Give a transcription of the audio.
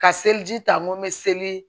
Ka seliji ta n ko n bɛ seli